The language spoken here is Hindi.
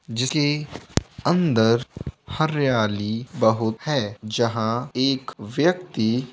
जिस लिए अंदर हरियाली बहुत है जहाँ एक व्यक्ति--